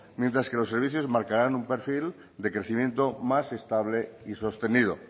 mientras que los servicios marcarán un perfil de crecimiento más estable y sostenido